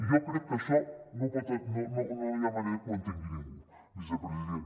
i jo crec que això no hi ha manera que ho entengui ningú vicepresident